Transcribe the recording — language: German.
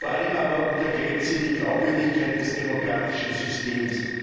Vor allem aber untergräbt sie die Glaubwürdigkeit des demokratischen Systems.